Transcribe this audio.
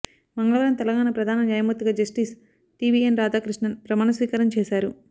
మంగళవారం తెలంగాణ ప్రధాన న్యాయమూర్తిగా జస్టిస్ టీబీఎన్ రాధాకృష్ణన్ ప్రమాణస్వీకారం చేశారు